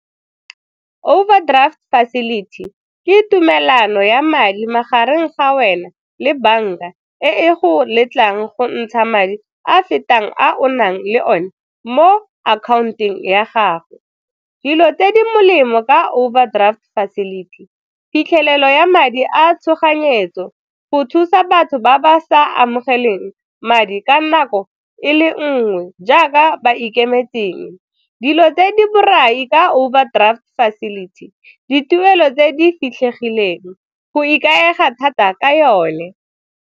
Overdraft facility ke tumelano ya madi magareng ga wena le banka e e go letlang go ntsha madi a a fetang a o nang le o ne mo account-eng ya gago. Dilo tse di molemo ka overdraft facility, phitlhelelo ya madi a tshoganyetso, go thusa batho ba ba sa amogeleng madi ka nako e le nngwe jaaka ba ikemetseng. Dilo tse di borai ka overdraft facility, dituelo tse di fitlhegileng, go ikaega thata ka yone.